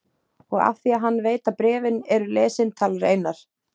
Og af því að hann veit að bréfin eru lesin talar Einar